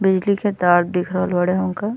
बिजली के ताड़ दिख रहल बाड़े हमका।